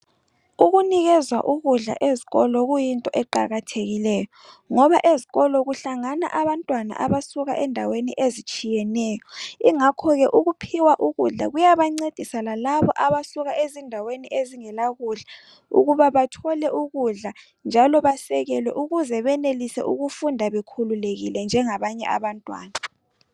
Ukunikezwa ukudla ezikolo kuyinto eqakathekileyo ngoba ezikolo kuhlangana abantwana abasuka endaweni ezitshiyeneyo ingakhoke ukuphiwa ukudla kuyabancedisa lalabo abasuka ezindaweni ezingela kudla ukuba bathole ukudla njalo basekelwe ukuze benelise ukufunda bekululekile njengabanye abantwana.